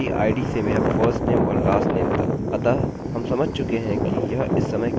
लेकिन फिर भी मैं इसे ऐसे ही रखूँगा क्योंकि यहाँ केवल एक ही रिकार्डअभिलेख है